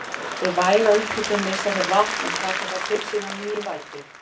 Við væga upphitun missa þeir vatn en taka það til sín á ný í vætu.